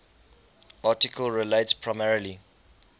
article relates primarily